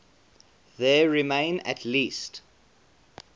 there remain at least